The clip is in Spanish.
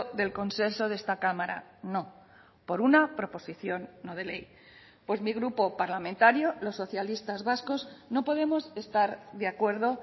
del consenso de esta cámara no por una proposición no de ley pues mi grupo parlamentario los socialistas vascos no podemos estar de acuerdo